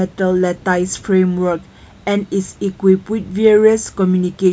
The tower frame work and is equipped with various communication.